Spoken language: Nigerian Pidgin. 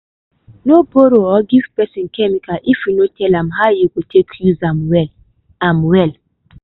no borrow or give person chemical if you no tell am how him go take use am well. am well.